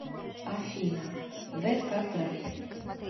афина зэфатрат